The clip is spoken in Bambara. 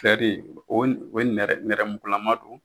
Fɛ de, o nɛrɛmugulaman don.